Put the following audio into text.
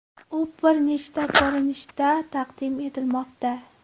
U bir nechta ko‘rinishda taqdim etilmoqda.